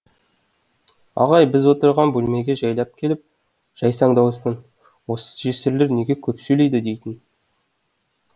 ағай біз отырған бөлмеге жайлап келіп жайсаң дауыспен осы жесірлер неге көп сөйлейді дейтін